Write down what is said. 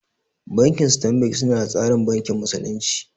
Banki stanbik su na tsarin bankin musulunci